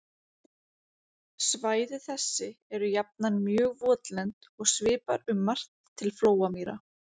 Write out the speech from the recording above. Svæði þessi eru jafnan mjög votlend og svipar um margt til flóamýra.